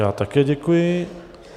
Já také děkuji.